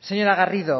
señora garrido